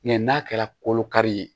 n'a kɛra kolo kari ye